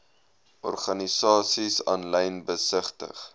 organisasies aanlyn besigtig